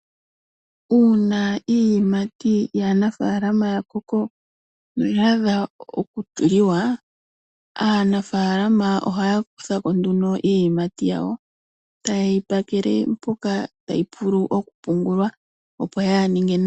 Uuna iiyimati yanafaalama ya koko noya adha oku liwa, aanafaalama oha ya kuthako nguno iiyimati yawo tayeyi pakele mpoka tayi vulu oku pungulwa opo yaa ninge nayi.